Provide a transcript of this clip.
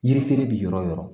Yiri feere bɛ yɔrɔ o yɔrɔ